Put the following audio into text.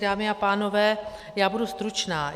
Dámy a pánové, já budu stručná.